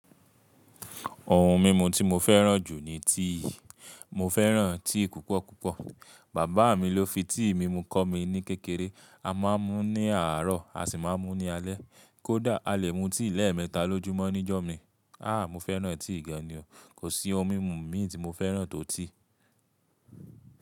Ohun mímu tí mo fẹ́ràn jù ni tea, mo fẹ́ràn tea púpọ̀ púpọ̀. Bàbá mi ló fi tea mímu kọ́ mi ní kékeré. A máa ń mú ní àárọ̀, a sì máa ń mú ní alẹ́. Kódà, a lè mú tea lẹ́ẹ̀mẹta lójúmọ́ níjọ́ mi. Ah́! Mo fẹ́ràn tea gan ni o. Kò sí ohun mímu mií tí mo fẹ́ràn tó tea.